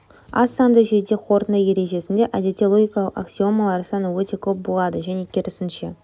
аз санды жүйеде қорытынды ережесінде әдетте логикалық аксиомалар саны өте көп болады және керісінше